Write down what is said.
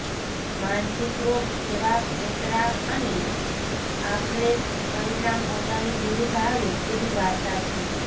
માનસિક રોગ કેવા પેંતરા અને આખરે પરિણામ પોતાની વિરુધ્ધ આવે એવી વાર્તા છે